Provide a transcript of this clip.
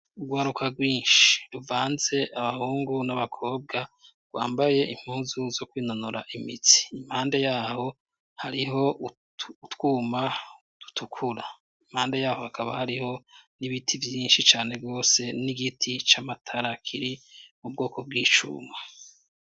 Urwaruka bwinshi ruvanz' abahungu n'abakobwa bakiri bato cane rwambay' impuzu zo kwinonor' imitsi, imbere yabo har' umwe muribo, yambay' impuzu zirabur' adugij' amabok' akoma mashi, impande yaho harih' utwuma duto duto dusa n' icatsi kibisi, impande yaho hakaba hariho n'ibiti byinshi birebire bifis' amasham' atotahaye.